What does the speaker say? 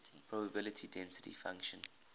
probability density function